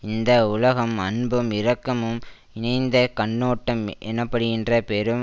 இந்த உலகம் அன்பும் இரக்கமும் இணைந்த கண்ணோட்டம் எனப்படுகின்ற பெரும்